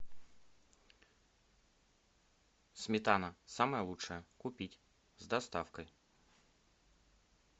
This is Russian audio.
сметана самая лучшая купить с доставкой